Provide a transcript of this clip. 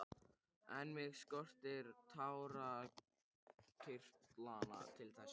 En mig skortir tárakirtlana til þess.